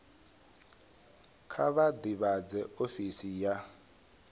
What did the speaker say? kha vha ḓivhadze ofisi ya